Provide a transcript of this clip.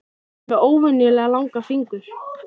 Hann er með óvenjulega langa fingur.